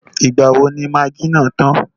Ìgbà wo ni magí náà tàn?